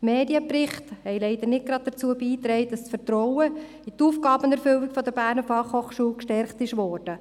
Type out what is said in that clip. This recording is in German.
Die Medienberichte haben leider nicht dazu beigetragen, dass das Vertrauen in die Aufgabenerfüllung der BFH gestärkt wurde.